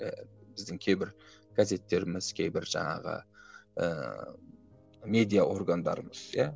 ііі біздің кейбір газеттеріміз кейбір жаңағы ііі медиа органдарымыз иә